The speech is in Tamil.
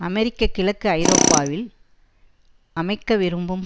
அமெரிக்க கிழக்கு ஐரோப்பாவில் அமைக்க விரும்பும்